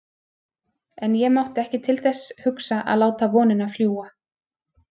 En ég mátti ekki til þess hugsa að láta vonina fljúga.